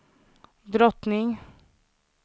drottning